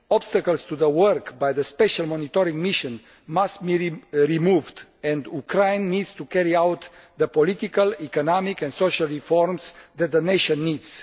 Obstacles to the work by the special monetary mission must be removed and Ukraine needs to carry out the political, economic and social reforms that the nation needs.